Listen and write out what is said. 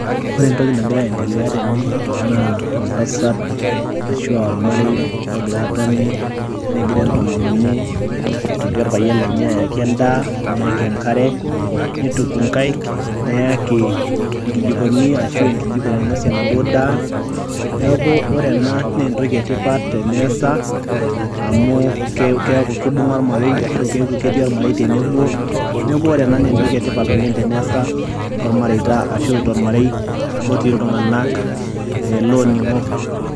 ore entoki nagira aendelea tene naa oltasata ashu aa olmarei logira aatoni negiraa entomononi, aitoti orpayian lenye ayaki edaa, neyaki enkare, neituku inkaik, neyaki, inkijikoni, ashu enkijiko nainosie anaduo daa. neeku ore ena naa entoki etipat teneesa, amu keeku kibunga olmarei ashu eku keku ketii olmarei tenebo. neeku ore ena naa entoki etipat oleng tenesa tolmarei ashu tolmareita loonig'o.